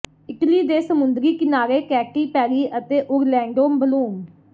Italy ਦੇ ਸਮੁੰਦਰੀ ਕਿਨਾਰੇ ਕੈਟੀ ਪੈਰੀ ਅਤੇ ਓਰਲੈਂਡੋ ਬਲੂਮ